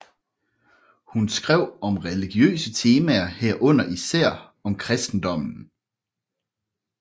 Hun skrev om religiøse temaer herunder især om Kristendommen